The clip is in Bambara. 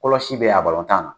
Kɔlɔsi bɛ yen a tan na.